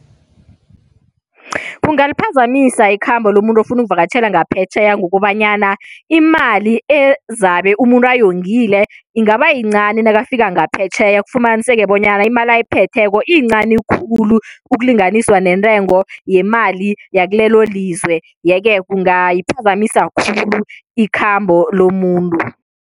Kungaliphazamisa ikhambo lomuntu ofuna ukuvakatjhela ngaphetjheya ngokobanyana imali ezabe umuntu ayongile, ingaba yincani nakafika ngaphetjheya kufumaniseke bonyana imali ayiphetheko iyincani khulu ukulinganiswa nentengo yemali yakulelo lizwe yeke, kungayiphazamisa khulu ikhambo lomuntu.